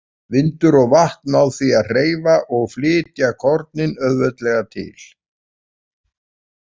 Vindur og vatn ná því að hreyfa og flytja kornin auðveldlega til.